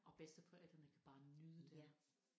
Og bedsteforældrene kan bare nyde det